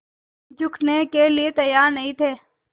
झुकने के लिए तैयार नहीं थे